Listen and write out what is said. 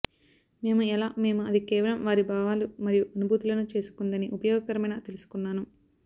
మేము ఎలా మేము అది కేవలం వారి భావాలు మరియు అనుభూతులను చేసుకుందని ఉపయోగకరమైన తెలుసుకున్నాను